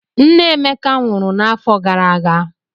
Nne Emeka nwụrụ n'afọ gara aga.